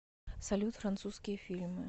салют французские фильмы